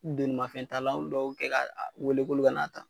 D'olu ma fɛn t'a la , be duwawu kɛ ka wele k'olu ka n'a ta.